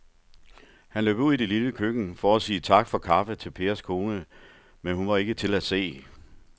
Han løb ud i det lille køkken for at sige tak for kaffe til Pers kone, men hun var ikke til at se.